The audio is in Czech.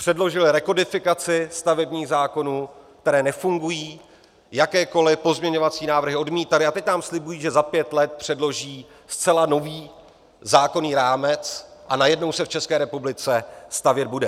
Předložily rekodifikaci stavebních zákonů, které nefungují, jakékoliv pozměňovací návrhy odmítaly, a teď nám slibují, že za pět let předloží zcela nový zákonný rámec a najednou se v České republice stavět bude.